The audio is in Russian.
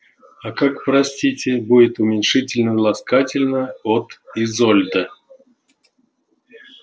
а как простите будет уменьшительно-ласкательно от изольда